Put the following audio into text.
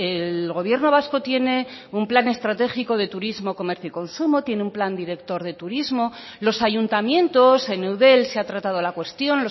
el gobierno vasco tiene un plan estratégico de turismo comercio y consumo tiene un plan director de turismo los ayuntamientos en eudel se ha tratado la cuestión